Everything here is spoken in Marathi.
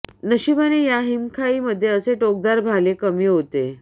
नशिबाने ह्या हिमखाई मध्ये असे टोकदार भाले कमी होते